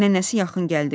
Nənəsi yaxın gəldi.